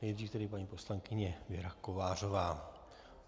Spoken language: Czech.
Nejdříve tedy paní poslankyně Věra Kovářová.